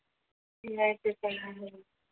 नाही ते पण आहे